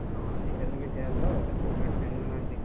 ହଁ ଆଜିକାଲି ବି ସେୟା ତ helmet ପିନ୍ଧୁନାହାନ୍ତି।